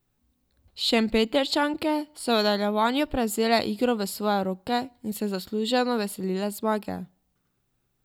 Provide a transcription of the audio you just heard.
Šempetrčanke so v nadaljevanju prevzele igro v svoje roke in se zasluženo veselile zmage.